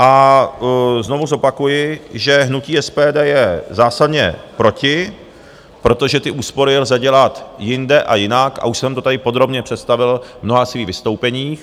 A znovu zopakuji, že hnutí SPD je zásadně proti, protože ty úspory lze dělat jinde a jinak a už jsem to tady podrobně představil v mnoha svých vystoupeních.